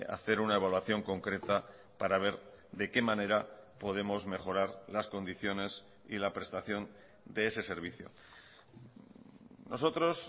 hacer una evaluación concreta para ver de qué manera podemos mejorar las condiciones y la prestación de ese servicio nosotros